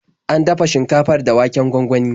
An dafa shinkafar da waken gwangwani.